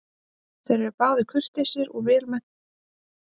Þeir eru báðir kurteisir og vel menntaðir menn.